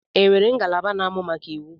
E nwere ngalaba na-amụ maka iwu?